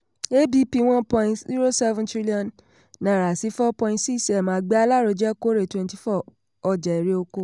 abp: one point zero seven trillion naira sí four point six m àgbẹ̀ alárojẹ kórè twenty four ọjà erè-oko.